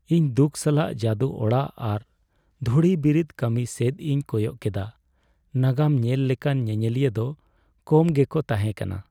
ᱤᱧ ᱫᱩᱠ ᱥᱟᱞᱟᱜ ᱡᱟᱹᱫᱩ ᱚᱲᱟᱜ ᱟᱨ ᱫᱷᱩᱲᱤ ᱵᱤᱨᱤᱫ ᱠᱟᱹᱢᱤ ᱥᱮᱫ ᱤᱧ ᱠᱚᱭᱚᱜ ᱠᱮᱫᱟ ᱾ ᱱᱟᱜᱟᱢ ᱧᱮᱞ ᱞᱮᱠᱟᱱ ᱧᱮᱧᱮᱞᱤᱭᱟᱹ ᱫᱚ ᱠᱚᱢ ᱜᱮᱠᱚ ᱛᱟᱦᱮᱸ ᱠᱟᱱᱟ ᱾